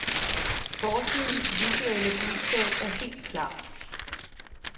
Forsidens visuelle budskab er helt klart.